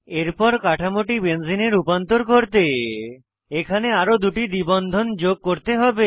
এরপর কাঠামোটি বেঞ্জিনে রূপান্তর করতে এখানে আরো দুটি দ্বি বন্ধন যোগ করতে হবে